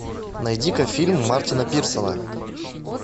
найди ка фильм мартина пирсона